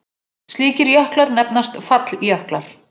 Slíkir jöklar nefnast falljöklar.